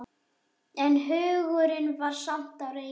En hugurinn var samt á reiki.